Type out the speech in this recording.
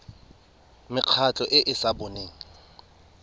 mekgatlho e e sa boneng